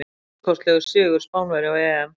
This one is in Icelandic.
Stórkostlegur sigur Spánverja á EM.